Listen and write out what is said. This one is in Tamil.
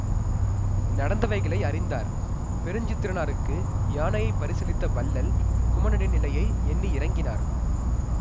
நடந்தவைகளை அறிந்தார் பெருஞ்சித்திரனாருக்கு யானையை பரிசளித்த வள்ளல் குமணனின் நிலையை எண்ணி இரங்கினார்